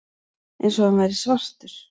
Eins og hann væri svartur.